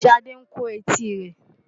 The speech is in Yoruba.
Ṣadé ń kó etí rẹ̀.